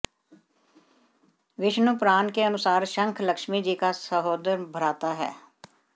विष्णु पुराण के अनुसार शंख लक्ष्मी जी का सहोदर भ्राता है